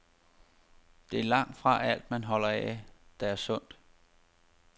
Det er langtfra alt, man holder af, der er sundt.